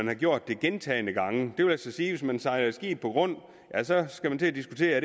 har gjort det gentagne gange det vil altså sige at hvis man sejler et skib på grund skal vi til at diskutere